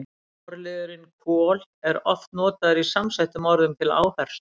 Forliðurinn kol- er oft notaður í samsettum orðum til áherslu.